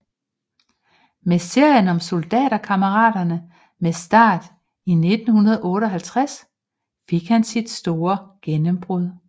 Med serien om Soldaterkammeraterne med start i 1958 fik han sit store gennembrud